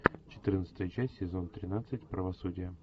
четырнадцатая часть сезон тринадцать правосудие